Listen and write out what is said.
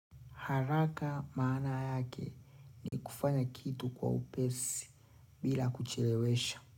Haraka maana yake ni kufanya kitu kwa upesi bila kuchelewesha.